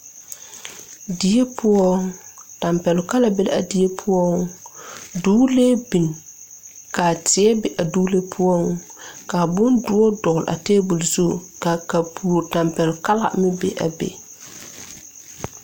Die poɔ tampɛloŋ kala be la a die poɔ duglee bin kaa teɛ be a duglee poɔ kaa bondoɔ dɔgle a tabol zu ka kapuro tampɛloŋ kala meŋ be a be.